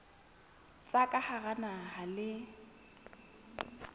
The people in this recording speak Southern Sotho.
tsa ka hara naha le